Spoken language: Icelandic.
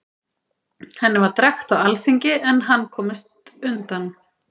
Henni var drekkt á alþingi, en hann komst undan.